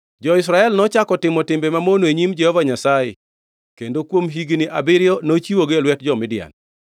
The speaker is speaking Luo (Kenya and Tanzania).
Jo-Israel nochako otimo timbe mamono e nyim Jehova Nyasaye, kendo kuom higni abiriyo nochiwogi e lwet jo-Midian.